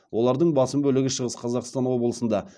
олардың басым бөлігі шығыс қазақстан облысында